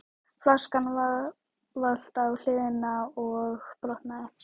Flaskan valt á hliðina og brotnaði.